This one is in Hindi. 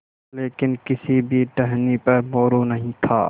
लेकिन किसी भी टहनी पर मोरू नहीं था